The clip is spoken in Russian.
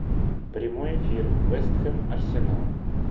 прямой эфир вест хэм арсенал